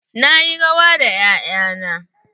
Na yi rawa da 'ya'ya na.